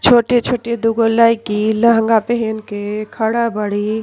छोटे छोटे दूगो लईकी लहंगा पेहेन के खड़ा बाड़ी।